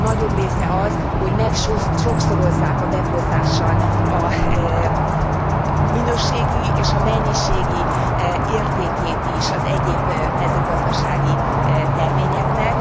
A nagyobb része az, hogy megsokszorozzák a beporzással a minőségi és a mennyiségi értékét is az egyéb mezőgazdasági terményeknek.